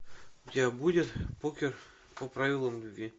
у тебя будет покер по правилам любви